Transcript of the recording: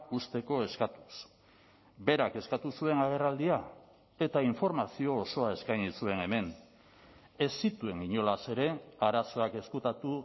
uzteko eskatuz berak eskatu zuen agerraldia eta informazio osoa eskaini zuen hemen ez zituen inolaz ere arazoak ezkutatu